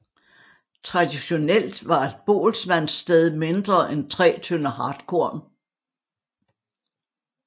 Traditionelt var et boelsmandssted mindre end 3 tønder hartkorn